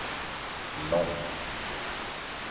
långt